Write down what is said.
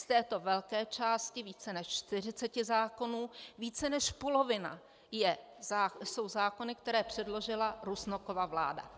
Z této velké části - více než 40 zákonů - více než polovina jsou zákony, které předložila Rusnokova vláda.